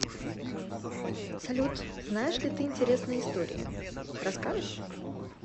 салют знаешь ли ты интересные истории расскажешь